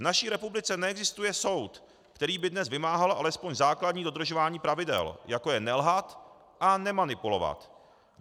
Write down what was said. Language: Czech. V naší republice neexistuje soud, který by dnes vymáhal alespoň základní dodržování pravidel, jako je nelhat a nemanipulovat.